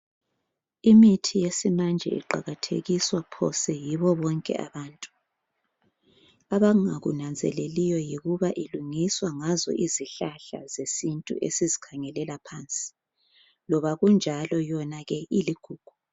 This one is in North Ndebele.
Imithi yesimanje iqakathekiswa phose yibo bonke abantu. Abangakunanzeleliyo yikuthi ilungiswa ngazo izihlahla ezesintu esizikhangelela phansi. Loba kunjalo yona ke iligugu